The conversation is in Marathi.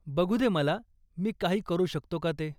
बघु दे मला मी काही करू शकतो का ते.